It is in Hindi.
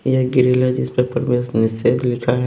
यह ग्रिल है जिस पेपर में निषेध लिखा है।